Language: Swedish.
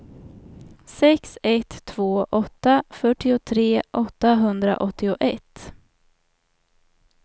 sex ett två åtta fyrtiotre åttahundraåttioett